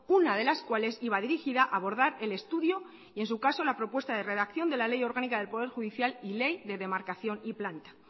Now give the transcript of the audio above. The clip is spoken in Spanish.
una de las cuales iba dirigida a abordar el estudio y en su caso la propuesta de redacción de la ley orgánica del poder judicial y ley de demarcación y planta